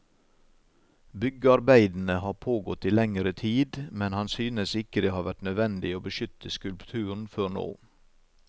Byggearbeidene har pågått i lengre tid, men han synes ikke det har vært nødvendig å beskytte skultpuren før nå.